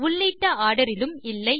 உள்ளிட்ட ஆர்டர் இலும் இல்லை